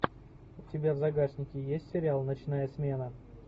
у тебя в загашнике есть сериал ночная смена